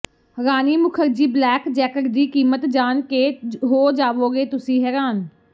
ਰਾਣੀ Mukherjee black jacket ਦੀ ਕੀਮਤ ਜਾਣ ਕੇ ਹੋ ਜਾਵੋਗੇ ਤੁਸੀ ਹੈਰਾਨ